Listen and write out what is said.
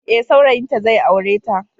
Ee, saurayinta zai aure ta.